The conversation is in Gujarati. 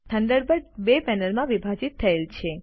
થન્ડરબર્ડ બે પેનલમાં વિભાજિત થયેલ છે